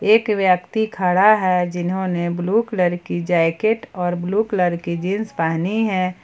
एक व्यक्ति खड़ा है जिन्होंने ब्लू कलर जैकेट और ब्लू कलर की जींस पहनी है।